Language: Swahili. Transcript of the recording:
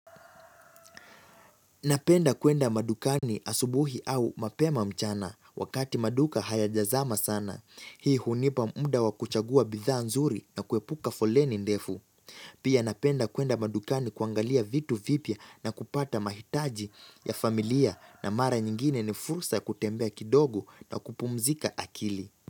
Napenda kuenda madukani asubuhi au mapema mchana wakati maduka hayajazama sana. Hii hunipa muda wakuchagua bidhaa nzuri na kuepuka foleni ndefu. Pia napenda kuenda madukani kuangalia vitu vipya na kupata mahitaji ya familia na mara nyingine ni fursa kutembea kidogo na kupumzika akili.